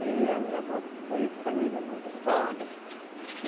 E a minha avó foi família muito pobre.